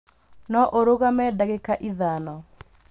No ũrũgamie ndagĩka ithano